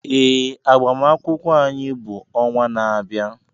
Ee, agbamakwụkwọ anyị bụ ọnwa na-abịa.